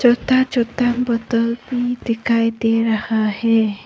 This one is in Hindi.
चोता चोता बोतल दिखाई दे रहा है।